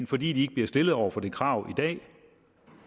fordi de ikke bliver stillet over for det krav i dag